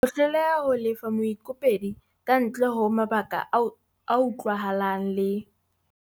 Ho hloleha ho lefa moikopedi kantle ho mabaka a utlwahalang le.